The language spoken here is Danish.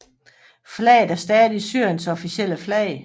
Flaget er stadig Syriens officielle flag